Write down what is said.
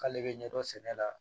K'ale bɛ ɲɛdɔn sɛnɛ la